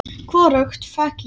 Hvorugt fékk ég.